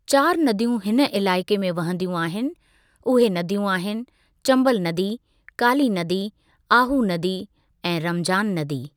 चारि नदियूं हिन इलाइक़े में वहंदियूं आहिनि, उहे नदियूं आहिनि; चंबल नदी, काली नदी, आहू नदी ऐं रमजान नदी।